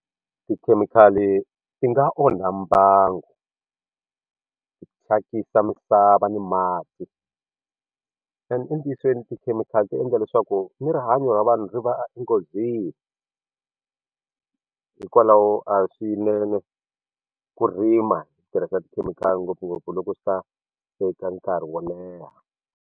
Tikhemikhali ti nga onha mbangu ti thyakisa misava ni mati entiyisweni tikhemikhali ti endla leswaku ni rihanyo ra vanhu ri va enghozini hikwalaho a hi swinene ku rima hi tirhisa tikhemikhali ngopfungopfu loko swi ta teka nkarhi wo leha.